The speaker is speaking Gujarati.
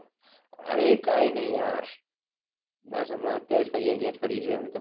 અરે કાઈ નહી યાર બસ અમના અત્યારે તો અહિયાં જ ફરીએ છે હાલ તો